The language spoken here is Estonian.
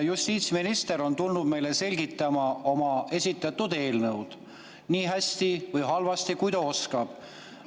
Justiitsminister on tulnud meile selgitama oma esitatud eelnõu, nii hästi või halvasti, kui ta oskab.